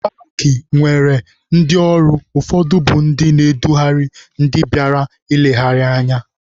Paakị na-enwe ndị ọrụ, ụfọdụ bụ ndị na-edugharị ndị bịara nlegharị anya.